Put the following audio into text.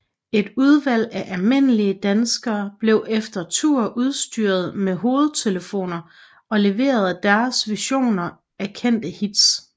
Et udvalg af almindelige danskere blev efter tur udstyret med hovedtelefoner og leverede deres versioner af kendte hits